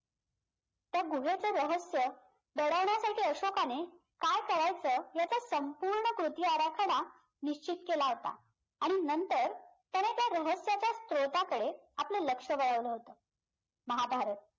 त्या गुहेचं रहस्य दडवण्यासाठी अशोकाने काय करायचं याचा संपूर्ण कृतीआराखडा निश्चित केला होता आणि नंतर त्याने त्या रहस्याच्या स्त्रोताकडे आपलं लक्ष वळवलं होतं महाभारत